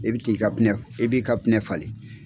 E bɛ t'i ka pinɛ e b'i ka pinɛ falen.